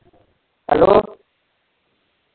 Hello.